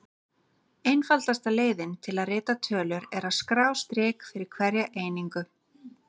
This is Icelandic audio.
Einfaldasta leiðin til að rita tölur er að skrá strik fyrir hverja einingu.